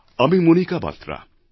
আমি মণিকা বাত্রা